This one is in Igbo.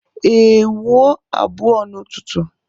Ee, wuo abụọ n'ụtụtụ